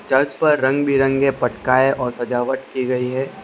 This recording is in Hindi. चर्च पर रंगबिरंगे पटकाए और सजावट कि गई है।